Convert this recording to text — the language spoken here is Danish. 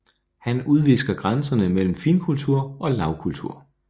Han udvisker grænserne mellem finkultur og lavkultur